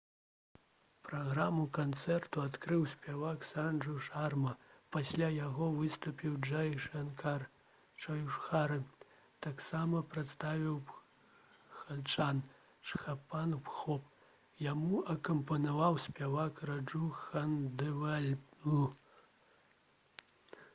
праграму канцэрту адкрыў спявак санджу шарма. пасля яго выступіў джай шанкар чоўдхары. ... таксама прадставіў бхаджан «чхаппан бхог». яму акампанаваў спявак раджу хандэвальл